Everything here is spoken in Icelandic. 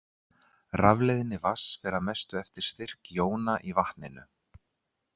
Rafleiðni vatns fer að mestu eftir styrk jóna í vatninu.